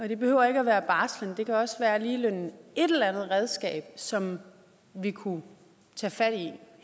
det behøver ikke være barsel det kan også være ligeløn som vi kunne tage fat i